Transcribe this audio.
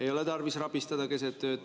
Ei ole tarvis rabistada keset ööd.